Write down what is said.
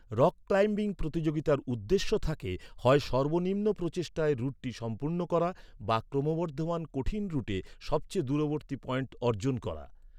Rock climbing প্রতিযোগিতার উদ্দেশ্য থাকে হয় সর্বনিম্ন প্রচেষ্টায় রুটটি সম্পূর্ণ করা বা ক্রমবর্ধমান কঠিন রুটে সবচেয়ে দূরবর্তী পয়েন্ট অর্জন করা।